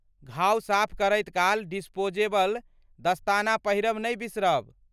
घाव साफ करैत काल डिस्पोजेबल दस्ताना पहिरब नहि बिसरब।